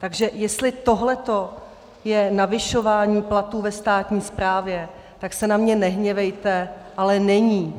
Takže jestli tohleto je navyšování platů ve státní správě, tak se na mě nehněvejte, ale není.